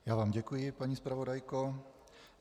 Já vám děkuji, paní zpravodajko.